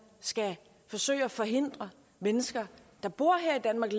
skal forsøge at forhindre mennesker der bor her i danmark